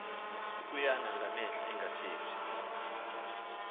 ukuyana ngamehlo engathethi